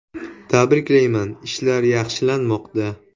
Tabriklayman, ishlar yaxshilanmoqda.